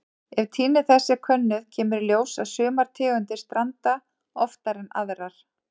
Ef tíðni þess er könnuð kemur í ljós að sumar tegundir stranda oftar en aðrar.